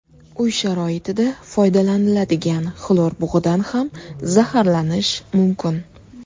Uy sharoitida foydalanadigan xlor bug‘idan ham zaharlanish mumkin.